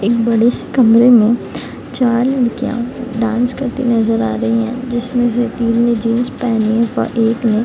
एक बड़े से कमरे में चार लड़कियाँ डांस करते नजर आ रहे हैं जिसमें से तीन ने जींस पहने हुए हैं और एक ने --